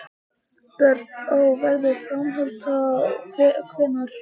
Björn: Og verður framhald þá hvenær?